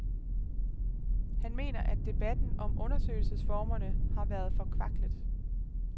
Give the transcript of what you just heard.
Han mener, at debatten om undersøgelsesformerne har været forkvaklet.